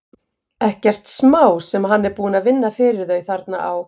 Ekkert smá sem hann er búinn að vinna fyrir þau þarna á